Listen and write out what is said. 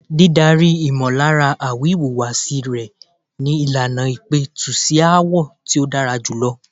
Dídárí ìmọllára àwi ìwùwàsí rẹ ni ìlànà ìpẹ̀tù sí aáwọ̀ tí ó dára jùlọ.